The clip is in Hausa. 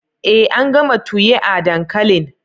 Ee an gama tuyia dankalin